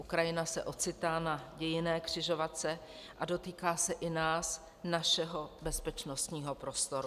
Ukrajina se ocitá na dějinné křižovatce a dotýká se i nás, našeho bezpečnostního prostoru.